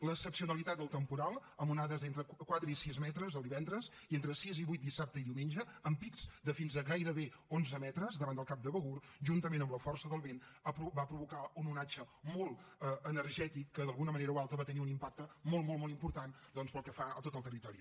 l’excepcionalitat del temporal amb onades entre quatre i sis metres el divendres i entre sis i vuit dissabte i diumenge amb pics de fins a gairebé onze metres davant del cap de begur juntament amb la força del vent va provocar un onatge molt energètic que d’alguna manera o altra va tenir un impacte molt molt molt important doncs pel que fa a tot el territori